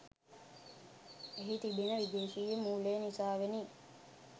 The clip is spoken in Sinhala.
එහි තිබෙන විදේශිය මූලය නිසාවෙනි.